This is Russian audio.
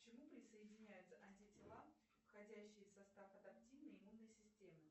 к чему присоединяются антитела входящие в состав адаптивной иммунной системы